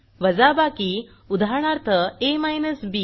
वाजाबाकी उदाहरणार्थ a बी